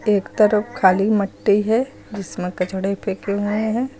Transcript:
एक तरफ खाली मट्टी है जिसमें कचड़े फेंके हुए हैं।